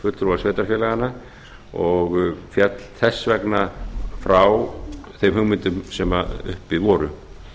fulltrúa sveitarfélaganna og féll þess vegna frá þeim hugmyndum sem uppi voru